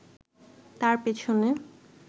তার পেছনে